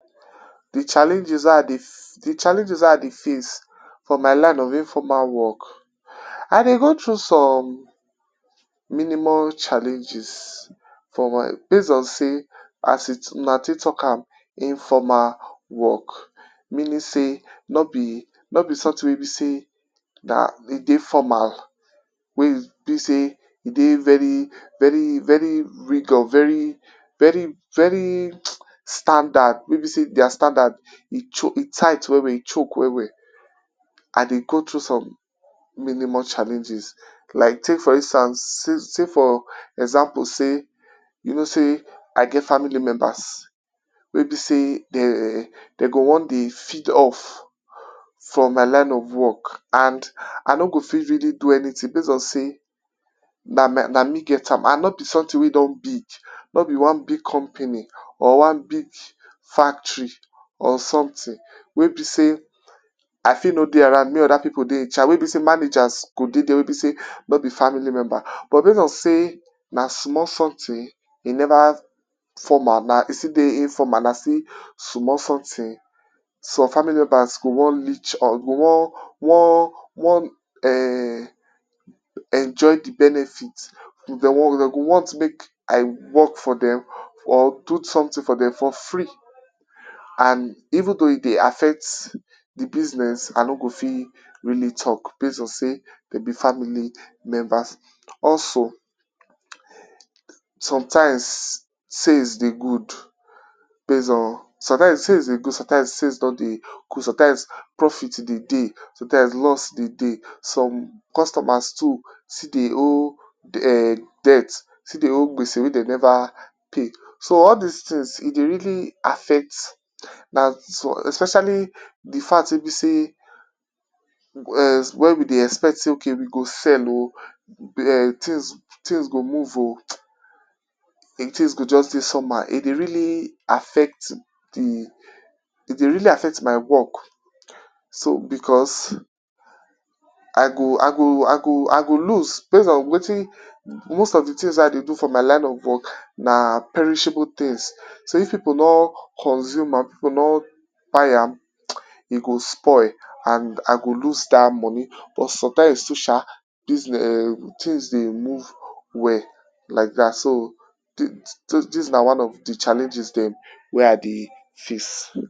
De challenges, de challenges wey I dey face for my line of informal work. I dey go through some minimum challenges for my, base on sey as e as una take talk am informal work meaning sey nor be, nor be something we e be sey na e dey formal. Wey e be sey e dey very very very rigor very very standard wey be sey their standard e tight well well e choke well well. I dey go through some minimum challenges like take for instance sey for example sey you know sey I get faily members wey be sey dey dey go wan dey feed off from my line of work and I no go fit really do anything base on sey na my na me get am and no be something wey don big. Nor be one big company or one big factory or something wey be sey I fit no dey around make other pipu dey in charge wey be sey managers go dey there wey be sey no be family member but base on sey na small something e never formal e still dey informal, na still small something, some family members go wan leech on go wan wan wan um enjoy de benefit. Dem go want make I work for dem or do something for dem for free. And even though e dey affect de business I no go fit really talk base on sey dem be family memebers. Also, sometimes sales dey good base on sometimes sales dey good sometimes sales no dey good sometimes profit dey dey, sometimes loss dey dey. Some customers too still dey owe um dept still dey owe me self wey dem never pay. So all dis things e dey really affect na some especially de fact wey be sey when we dey expect sey okay we go sell um things go move um and things go just dey somehow e dey really affect de, e dey really affect my work so because I go I go I go I go lose base on wetin most of de things wey I dey do for my line of work na perishable things so if pipu nor consume am if pipu nor buy am, e go spoil and I go lose dat money but sometimes too sha these um things dey move well like dat. So, dis dis na one of de challenges dem wey I dey face.